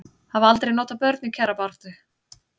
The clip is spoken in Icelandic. Hafa aldrei notað börn í kjarabaráttu